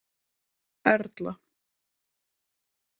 Erla